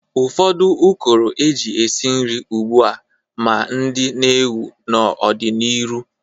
Ụfọdụ ụkọrọ e ji esi nri ugbu a ma ndị n'ewu n'ọ dị n'iru.